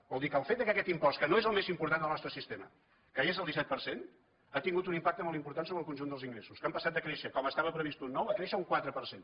vol dir que el fet que aquest impost que no és el més important en el nostre sistema caigués el disset per cent ha tingut un impacte molt important sobre el conjunt dels ingressos que han passat de créixer com estava previst un nou a créixer un quatre per cent